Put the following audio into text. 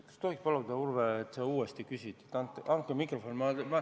Kas tohib paluda, Urve, et sa uuesti küsid?